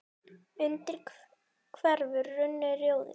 undir hverfur runni, rjóður